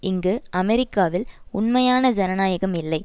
இங்கு அமெரிக்காவில் உண்மையான ஜனநாயகம் இல்லை